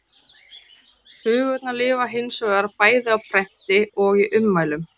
Sögurnar lifa hins vegar, bæði á prenti og í munnmælum.